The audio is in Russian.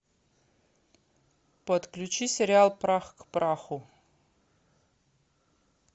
подключи сериал прах к праху